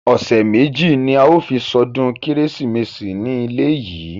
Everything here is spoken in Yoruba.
Ọ̀sẹ̀ méjì ní a ó fi ṣọdún kérésìmesì ní ilé yìí.